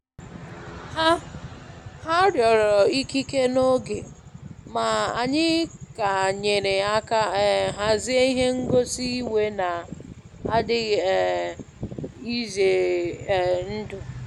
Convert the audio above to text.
Ha Ha rịọrọ ikike n'oge, ma anyị ka nyere aka um hazie ihe ngosi iwe na-adịghị um ize um ndụ.